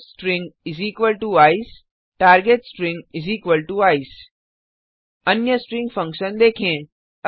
source string ECE target string ECE अन्य string function देंखे